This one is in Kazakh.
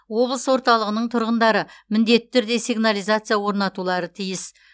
облыс орталығының тұрғындары міндетті түрде сигнализация орнатулары тиіс